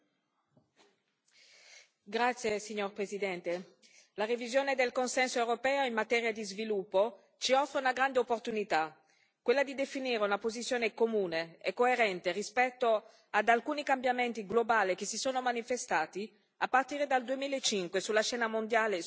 Signor Presidente, onorevoli colleghi, la revisione del consenso europeo in materia di sviluppo ci offre una grande opportunità, quella di definire una posizione comune e coerente rispetto ad alcuni cambiamenti globali che si sono manifestati a partire dal 2005 sulla scena mondiale, sociale, economica e ambientale.